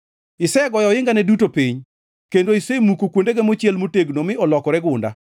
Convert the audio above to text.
Isegoyo ohingane duto piny kendo isemuko kuondege mochiel motegno mi olokore gunda.